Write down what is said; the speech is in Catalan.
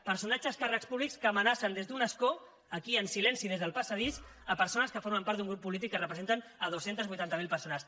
personatges càrrecs públics que amenacen des d’un escó aquí en silenci des del passadís persones que formen part d’un grup polític que representen dos cents i vuitanta miler persones